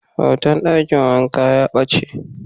Hoton dakin wanka ya bace.